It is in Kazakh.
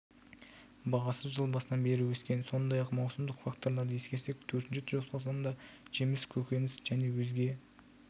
бағасы жыл басынан бері өскен сондай-ақ маусымдық факторларды ескерсек төртінші тоқсанда жеміс көкөніс және өзге